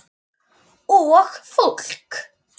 Og fólk!